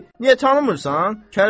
Ay kişi, niyə tanımırsan?